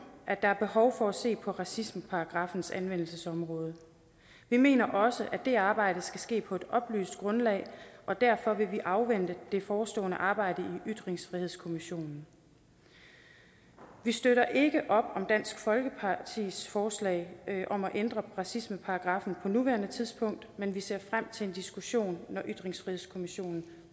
at der er behov for at se på racismeparagraffens anvendelsesområde vi mener også at det arbejde skal ske på et oplyst grundlag og derfor vil vi afvente det forestående arbejde i ytringsfrihedskommissionen vi støtter ikke op om dansk folkepartis forslag om at ændre racismeparagraffen på nuværende tidspunkt men vi ser frem til en diskussion når ytringsfrihedskommissionen